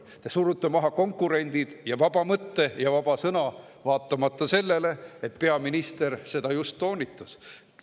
Te surute maha konkurendid, vaba mõtte ja vaba sõna, vaatamata sellele, et peaminister selle just toonitas.